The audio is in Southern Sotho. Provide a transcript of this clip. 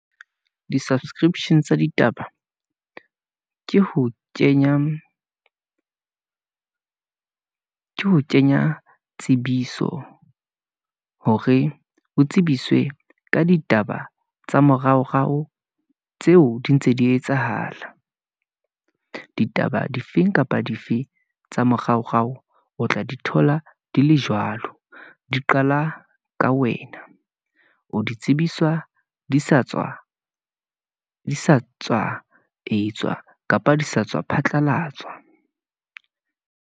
Di-subscription tsa ditaba , ke ho kenya tsebiso hore ho tsebiswe ka ditaba, tsa moraorao tseo di ntse di etsahala, ditaba difeng kapa dife tsa moraorao. O tla di thola di le jwalo, di qala ka wena, o di tsebiswa di sa tswa etswa kapa di sa tswa phatlalatswa.